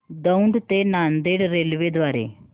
दौंड ते नांदेड रेल्वे द्वारे